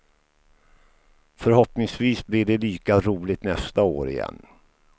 Förhoppningsvis blir det lika roligt nästa år igen.